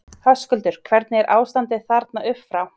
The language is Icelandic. Höskuldur: Hvernig er ástandið þarna upp frá?